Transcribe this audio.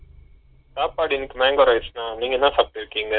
சாப்பாடு இன்னிக்கி mango rice னா நீங்க என்ன சாப்டுருக்கிங்க ?